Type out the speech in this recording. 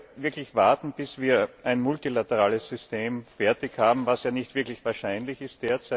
Sollen wir wirklich warten, bis wir ein multilaterales System fertig haben, was ja derzeit nicht wirklich wahrscheinlich ist?